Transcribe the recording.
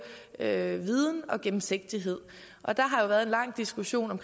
er viden og gennemsigtighed og der har været en lang diskussion om